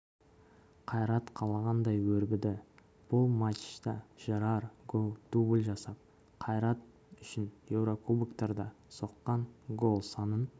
қайрат қалағандай өрбіді бұл матчта жерар гоу дубль жасап қайрат үшін еурокубоктарда соққан гол санын